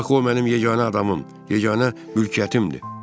Axı o mənim yeganə adamım, yeganə mülkiyyətimdir.